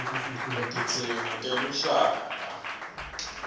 wetidzingo teluhlaka